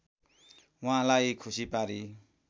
उहाँलाई खुसी पारी